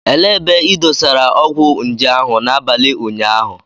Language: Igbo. Elee ebe ị dosara ọgwụ nje ahụ n'abalị ụnyaahụ